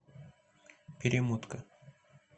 перемотка